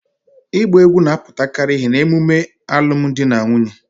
Igba egwu na-aputakari ihe na-emume alum di na nwunye